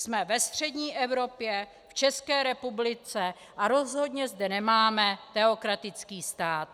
Jsme ve střední Evropě, v České republice, a rozhodně zde nemáme teokratický stát.